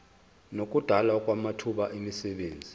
nokudalwa kwamathuba emisebenzi